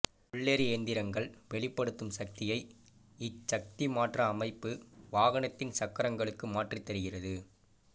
உள்ளெரி இயந்திரங்கள் வெளிப்படுத்தும் சக்தியை இச்சக்திமாற்ற அமைப்பு வாகனத்தின் சக்கரங்களுக்கு மாற்றித்தருகிறது